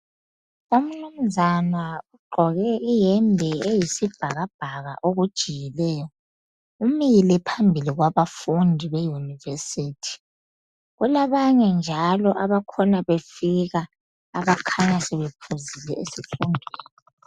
Umnunzana ugqoke iyembe eyisibhakabhaka okujiyileyo. Umile phambili kwabafundi beyunivesithi. Kulabanye njalo abakhona befika abakhanya sebephuzile esikolo.